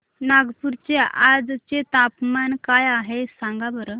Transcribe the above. नागपूर चे आज चे तापमान काय आहे सांगा बरं